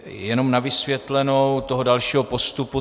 Jenom na vysvětlenou toho dalšího postupu.